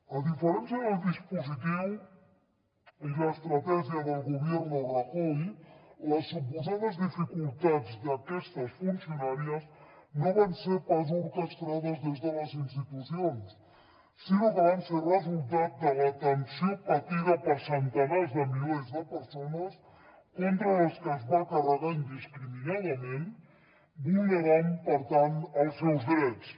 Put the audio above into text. a diferència del dispositiu i l’estratègia del gobierno rajoy les suposades dificultats d’aquestes funcionàries no van ser pas orquestrades des de les institucions sinó que van ser resultat de la tensió patida per centenars de milers de persones contra les que es va carregar indiscriminadament vulnerant per tant els seus drets